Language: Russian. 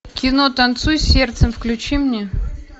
кино танцуй сердцем включи мне